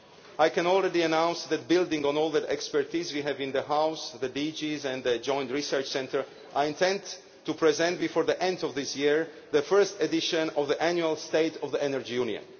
I can already announce that, building on all the expertise we have in the House, the DGs and the Joint Research Centre, I intend to present, before the end of this year, the first edition of the annual State of the Energy Union.